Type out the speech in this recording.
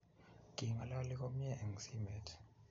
King'alali komyee eng simet